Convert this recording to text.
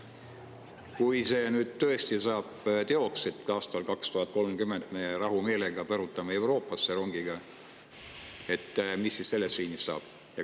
Kui see tõesti saab teoks, et aastal 2030 me rahumeelega põrutame rongiga Euroopasse, mis siis sellest liinist saab?